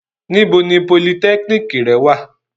Nibo ni polytechnic rẹ wa?